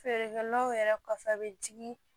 Feerekɛlaw yɛrɛ kɔfɛ a bɛ jigin